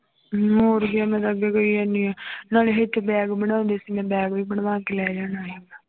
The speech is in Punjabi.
ਹੋਰ ਕੀ ਮੈਂ ਤਾਂ ਅੱਗੇ ਕਹੀ ਜਾਂਦੀ ਹਾਂ ਨਾਲੇ ਇੱਥੇ bag ਬਣਾਉਂਦੇ ਸੀ ਮੈਂ bag ਵੀ ਬਣਵਾ ਕੇ ਲੈ ਜਾਣਾ ਸੀ।